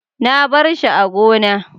na barshi a gona